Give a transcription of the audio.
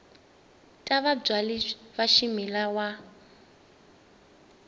ta vabyali va swimila wa